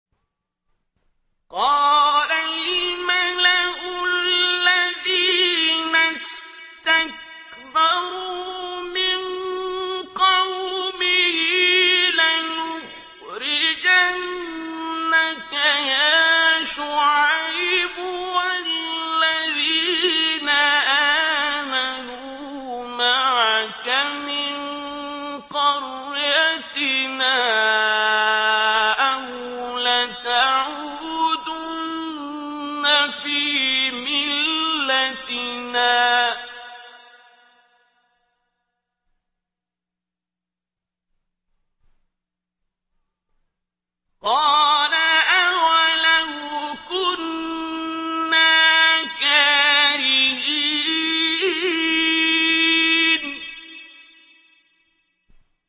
۞ قَالَ الْمَلَأُ الَّذِينَ اسْتَكْبَرُوا مِن قَوْمِهِ لَنُخْرِجَنَّكَ يَا شُعَيْبُ وَالَّذِينَ آمَنُوا مَعَكَ مِن قَرْيَتِنَا أَوْ لَتَعُودُنَّ فِي مِلَّتِنَا ۚ قَالَ أَوَلَوْ كُنَّا كَارِهِينَ